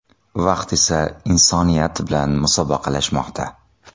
Vaqt esa insoniyat bilan musobaqalashmoqda.